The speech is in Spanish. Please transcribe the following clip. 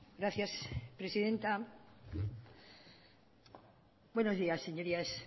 gracias presidenta buenos días señorías